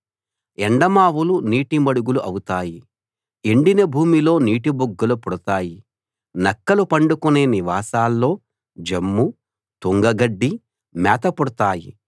ఎండమావులు నీటి మడుగులు అవుతాయి ఎండిన భూమిలో నీటిబుగ్గలు పుడతాయి నక్కలు పండుకొనే నివాసాల్లో జమ్ము తుంగగడ్డి మేత పుడతాయి